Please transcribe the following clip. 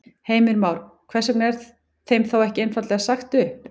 Heimir Már: Hvers vegna er þeim þá ekki einfaldlega sagt upp?